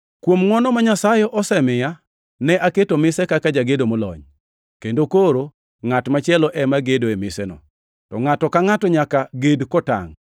Kuom ngʼwono ma Nyasaye osemiya, ne aketo mise kaka jagedo molony, kendo koro ngʼat machielo ema gedo e miseno. To ngʼato ka ngʼato nyaka ged kotangʼ.